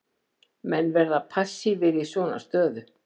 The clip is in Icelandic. Menn verða passívir í svona stöðu.